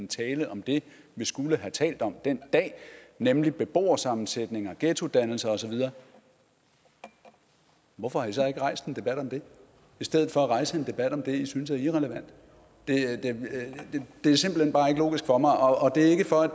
tale om det vi skulle have talt om den dag nemlig beboersammensætninger ghettodannelser og så videre hvorfor har i så ikke rejst en debat om det i stedet for at rejse en debat om det i synes er irrelevant det er simpelt hen bare ikke logisk for mig og det er ikke for at